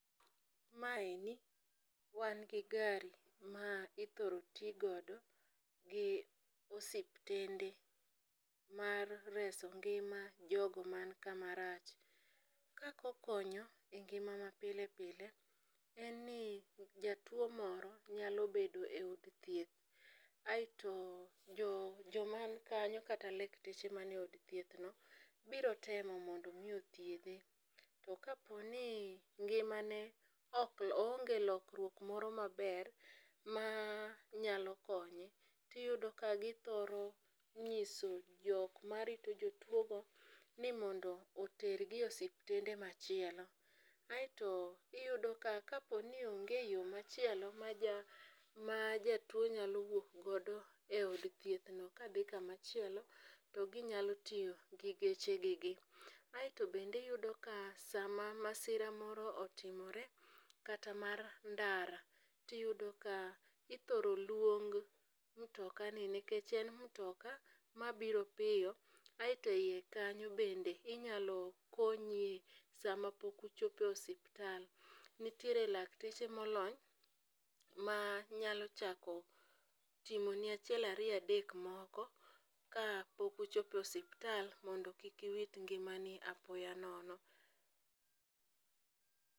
Maeni wan gi gari ma ithoro ti godo gi osiptende mar reso ngima jogo man kamarach. Kaka okonyo e ngima mapile pile en ni jatuwo moro nyalo bedo e od thieth aeto joman kanyo kata lakteche mane od thiethno biro temo mondo omi othiedhe, to kaponi ngimane oonge lokruok moro maber manyalo konye, tiyudo ka githoro nyiso jok marito jotuwogo ni mondo otergi e osiptende machielo, aeto iyudo ka kaponi onge yo machielo ma jatuwo nyalo wuok godo e od thiethno kadhi kamachielo, to ginyalo tiyo gi gechegigi, aeto bende iyudo ka sama masira moro otimore kata mar ndara, tiyudo ka ithoro luong mtokani nikech en mtoka mabiro piyo aeto e iye kanyo bende inyalo konyie sama pok ochopo e osiptal, nitiere lakteche molony manyalo chako timoni achiel ariyo adek moko ka pok ochopo e osiptal mondo kik iwit ngimani apoya nono.